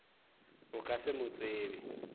o ka se mo tsebe